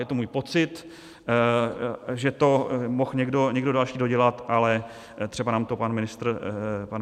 Je to můj pocit, že to mohl někdo další dodělat, ale třeba nám to pan ministr řekne.